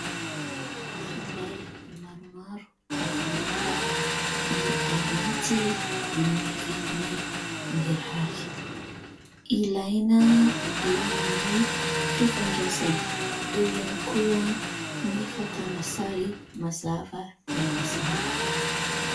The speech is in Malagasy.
Finday maromaro avo lenta no aranty amin'ny vidiny mirary. Ilaina eo amin'ny fifandraisana, eo ihany koa ny fakana sary mazava dia mazava.